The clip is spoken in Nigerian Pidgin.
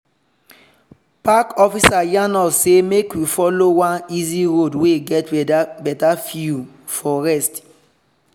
park officer yarn us say make we follow one easy road wey get better view for rest.